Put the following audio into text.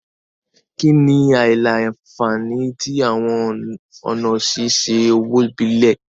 Kini awọn aila-nfani ti awọn ọna ṣiṣe owo ibile?